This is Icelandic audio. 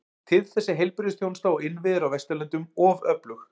Til þess er heilbrigðisþjónusta og innviðir á Vesturlöndum of öflug.